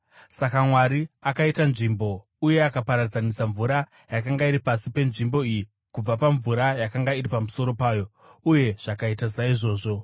Saka Mwari akaita nzvimbo uye akaparadzanisa mvura yakanga iri pasi penzvimbo iyi kubva pamvura yakanga iri pamusoro payo. Uye zvakaita saizvozvo.